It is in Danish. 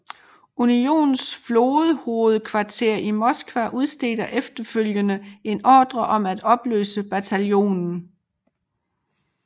Unionens flådehovedkvarter i Moskva udstedte efterfølgende en ordre om at opløse bataljonen